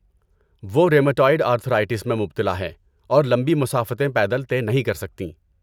وہ rheumatoid arthritis میں مبتلا ہے اور لمبی مسافتیں پیدل طے نہیں کر سکتیں۔